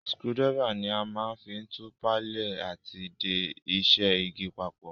Screwdriver ni a ma n fi tù palẹ́ àti de isẹ́ igi papò